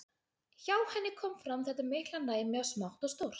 Hjá henni kom fram þetta mikla næmi á smátt og stórt.